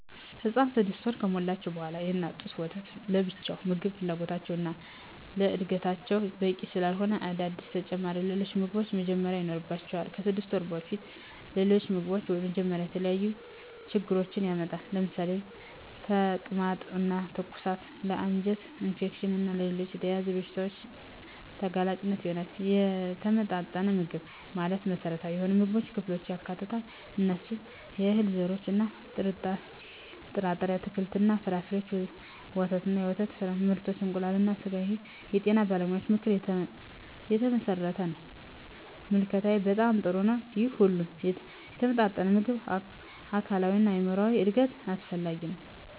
ህፃናት 6 ወር ከሞላቸው በዋላ የእናት ጡት ወተት ለብቻው የምግብ ፍላጎታቸውን እና ለዕድገታቸው በቂ ስላለሆነ አዳዲስ ተጨማሪ ሌሎች ምግቦችን መጀመር ይኖርባቸዋል። ከ6 ወር በፊት ሌሎች ምግቦችን መጀመር የተለያዩ ችግሮችን ያመጣል ለምሳሌ ተቅማጥ እና ትውከት ለ አንጀት ኢንፌክሽን እና ሌሎች ተያያዝ በሺታዎች ተጋላጭ ይሆናሉ። የተመጣጠነ ምግብ ማለት መሰረታዊ የሆኑ የምግብ ክፍሎችን ያካትታል። እነሱም፦ የእህል ዘርሮች እና ጥርጣሬ፣ አትክልት እና ፍራፍሬ፣ ወተት እና የወተት ምርቶች፣ እንቁላል እና ስጋ ይህ የጤና ባለሙያዎች ምክር የተመሠረተ ነው። ምልከታዬ በጣም ጥሩ ነው ይህ ሁሉ የተመጣጠነ ምግብ ለአካላዊ እና ለአይምራዊ እድገት አስፈላጊ ነው።